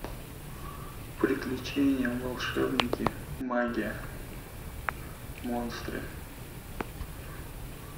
приключения волшебники магия монстры